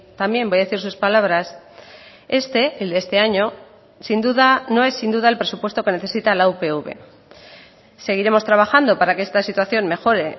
también voy a decir sus palabras este el de este año sin duda no es sin duda el presupuesto que necesita la upv seguiremos trabajando para que esta situación mejore